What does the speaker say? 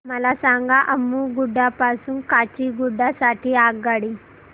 मला सांगा अम्मुगुडा पासून काचीगुडा साठी आगगाडी